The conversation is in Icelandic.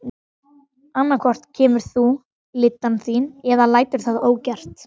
Annað hvort kemur þú lyddan þín eða lætur það ógert.